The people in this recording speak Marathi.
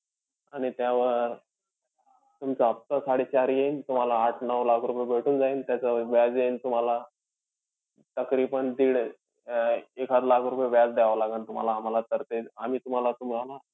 आणि त्यावर तुमचा हफ्ता साडेचार येईन. तुम्हाला आठ-नऊ लाख रुपये भेटून जाईन. त्याच व्याज येईन तुम्हाला तकरीबांन दिड अं एखाद लाख रुपये व्याज द्यावं लागेन तुम्हाला आम्हाला sir ते. आम्ही तुम्हाला तुम्हाला